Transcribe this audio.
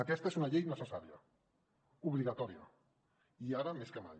aquesta és una llei necessària obligatòria i ara més que mai